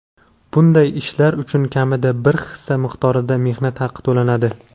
bunday ishlar uchun kamida bir hissa miqdorida mehnat haqi to‘lanadi.